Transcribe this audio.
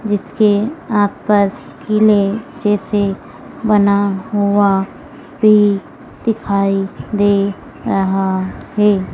जिसके आस पास किले जैसे बना हुआ भी दिखाई दे रहा है।